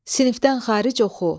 Sinifdən xaric oxu.